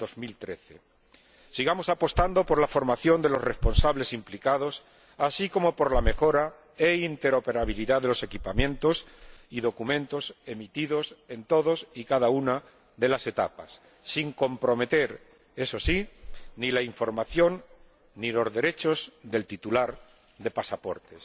2013. Sigamos apostando por la formación de los responsables implicados, así como por la mejora e interoperabilidad de los equipamientos y documentos emitidos en todas y cada una de las etapas, sin comprometer, eso sí, ni la información ni los derechos del titular del pasaporte.